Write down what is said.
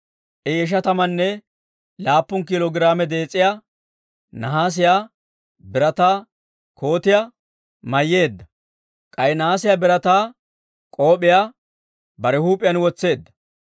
I ishatamanne laappun kiilo giraame dees'iyaa nahaasiyaa birataa kootiyaa mayyeedda; k'ay nahaasiyaa birataa k'op'iyaa bare huup'iyaan wotseedda.